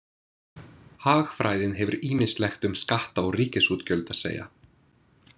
Hagfræðin hefur ýmislegt um skatta og ríkisútgjöld að segja.